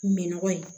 Min nɔgɔ ye